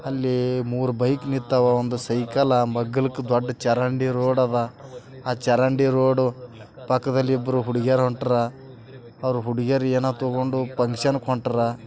ಅಲ್ಲಿ ಮೂರು ಬೈಕ್ ನಿಂತವು ಒಂದು ಸೈಕಲ್ ಮಗ್ಗಲ್ಕ್ ಚರಂಡಿ ರೋಡದ. ಆ ಚರಂಡಿ ರೋಡ್ ಪಕ್ಕದಲ್ಲಿ ಇಬ್ರು ಹುಡುಗೀರು ಹುಡುಗೀರು ಏನು ತಗೊಂಡ್ ಫಂಕ್ಷನ್ಗೆ ಹೊಂಟ್ಟರ.